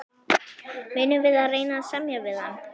Munum við reyna að semja við hann?